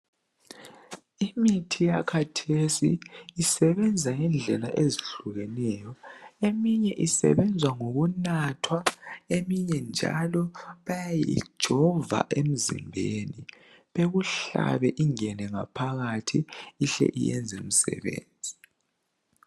Imithi yakhathesi isebenza ngendlela ezihlukeneyo .Eminye isebenza ngokunathwa , eminye njalo bayayijova emzimbeni. Bekuhlabe ingene ngaphakathi ihle iyenze umsebenzi